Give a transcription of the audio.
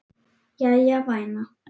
Jæja, væna.